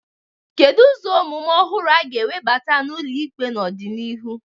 Kedu ụzọ omume ọhụrụ a ga-ewebata n'ụlọ ikpe n'ọdịnihu?